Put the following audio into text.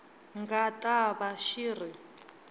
nga ta va xi ri